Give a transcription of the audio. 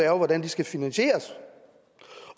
er hvordan de skal finansieres